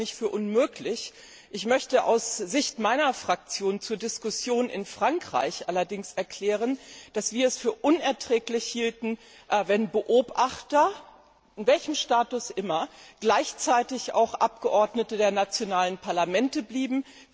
Ich halte das nicht für unmöglich, möchte aus Sicht meiner Fraktion zur Diskussion in Frankreich allerdings erklären, dass wir es für unerträglich hielten, wenn Beobachter, mit welchem Status auch immer, gleichzeitig auch Abgeordnete der nationalen Parlamente blieben.